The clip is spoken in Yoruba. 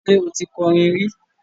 Ṣé o ti kọrin rí?